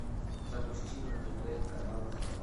запусти на тв канал хабар